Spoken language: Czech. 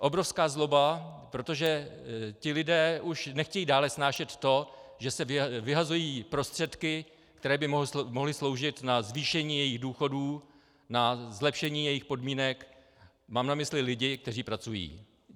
Obrovská zloba, protože ti lidé už nechtějí dále snášet to, že se vyhazují prostředky, které by mohly sloužit na zvýšení jejich důchodů, na zlepšení jejich podmínek - mám na mysli lidi, kteří pracují.